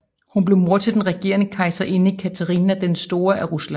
Hun blev mor til den regerende kejserinde Katharina den Store af Rusland